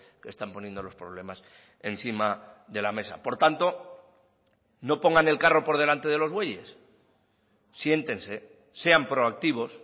que están poniendo los problemas encima de la mesa por tanto no pongan el carro por delante de los bueyes siéntense sean proactivos